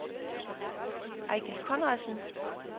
Eigil Conradsen